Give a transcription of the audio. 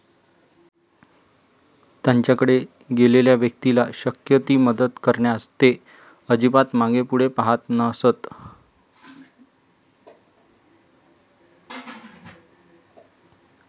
त्यांच्याकडे गेलेल्या व्यक्तीला शक्य ती मदत करण्यास ते अजिबात मागेपुढे पाहत नसत.